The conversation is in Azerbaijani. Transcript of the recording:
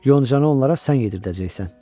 Yoncanı onlara sən yedirdəcəksən.